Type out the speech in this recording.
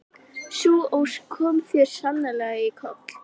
Sú ósk kom þér sannarlega í koll.